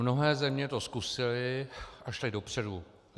Mnohé země to zkusily a šly dopředu.